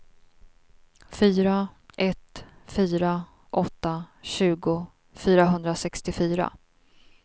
fyra ett fyra åtta tjugo fyrahundrasextiofyra